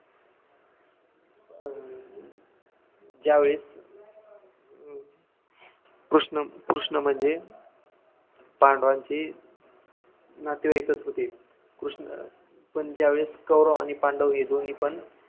ज्यावेळेस हम्म कृष्ण कृष्णम्हणजे पांडवांचे नातेवाईकच होते कृष्ण पण ज्यावेळेस कौरव आणि पांडव दोन्ही पण